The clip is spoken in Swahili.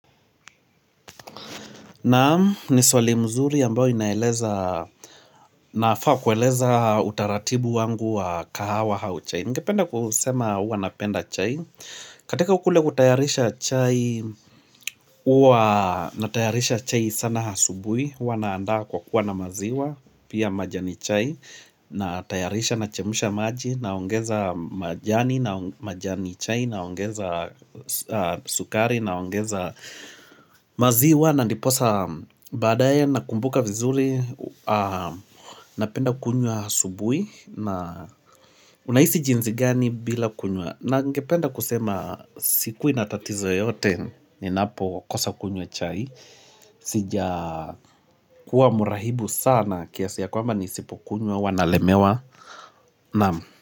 Naam, ni swali mzuri ambao inaeleza nafaa kueleza utaratibu wangu wa kahawa au chai Ningependa kusema uwa napenda chai katika kule kutayarisha chai, uwa natayarisha chai sana hasubui Uwa naandaa kwa kuwa na maziwa, pia majani chai Natayarisha nachemsha maji, naongeza majani, majani chai, naongeza sukari, naongeza maziwa na ndiposa badaye na kumbuka vizuri napenda kunywa asubui na unahisi jinzi gani bila kunywa ningependa kusema sikui na tatizo yoyote ninapokosa kunywa chai sijakuwa murahibu sana kiasi ya kwamba nisipokunywa huwa nalemewa naam.